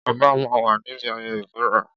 Ọba máa ń wà níbi ayẹyẹ ìbúra.